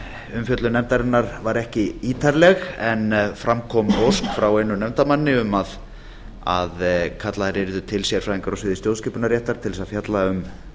umfjöllun nefndarinnar var ekki ítarleg en fram kom ósk frá einum nefndarmanni um að kallaðir yrðu til sérfræðingar á sviði stjórnskipunarréttar til þess að fjalla um